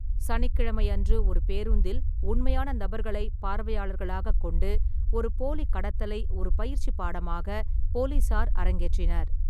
சனிக்கிழமையன்று, ஒரு பேருந்தில் உண்மையான நபர்களை பார்வையாளர்களாகக் கொண்டு, ஒரு போலி கடத்தலை ஒரு பயிற்சி பாடமாக போலீசார் அரங்கேற்றினர்.